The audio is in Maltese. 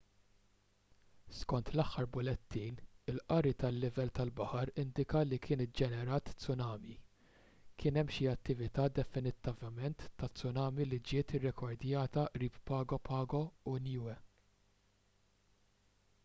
skont l-aħħar bulettin il-qari tal-livell tal-baħar indika li kien iġġenerat tsunami kien hemm xi attività definittivament ta' tsunami li ġiet irrekordjata qrib pago pago u niue